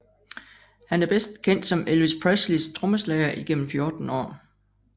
Han er bedst kendt som Elvis Presleys trommeslager igennem 14 år